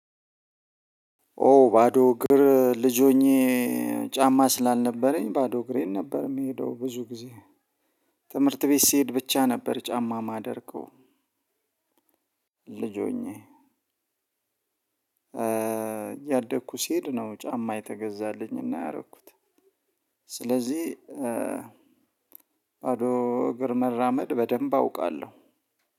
ኦ ባዶ እግር ልጅ ሆኜ ጫማ ስላልነበረኝ ባዶ እግሬን ነበር የምሄደው ብዙ ጊዜ። ትምህርት ቤት ስሄድ ብቻ ነበር ጫማ ማደርገው። ልጅ ሆኜ። እያደኩ ሲሄድ ነው ጫማ የተገዛልኝና ያደረኩት። ስለዚህ ባዶ እግር መራመድ በደንብ አውቃለሁ።